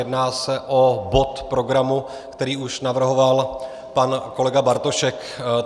Jedná se o bod programu, který už navrhoval pan kolega Bartošek.